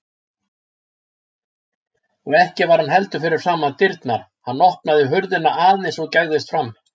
Og ekki var hann heldur fyrir framan dyrnar, hann opnaði hurðina aðeins og gægðist fram.